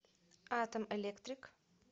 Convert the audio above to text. атом электрик